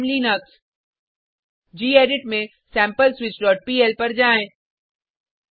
I am Linux gedit में sampleswitchपीएल पर जाएँ